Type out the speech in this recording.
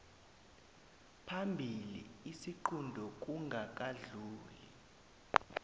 phambili isiqunto kungakadluli